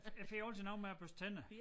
Jeg får altid noget med at børste tænder